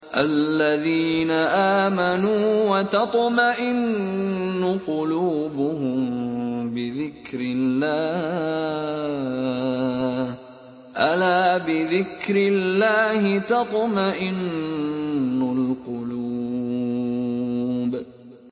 الَّذِينَ آمَنُوا وَتَطْمَئِنُّ قُلُوبُهُم بِذِكْرِ اللَّهِ ۗ أَلَا بِذِكْرِ اللَّهِ تَطْمَئِنُّ الْقُلُوبُ